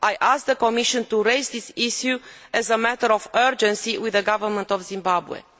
I ask the Commission to raise this issue as a matter of urgency with the government of Zimbabwe.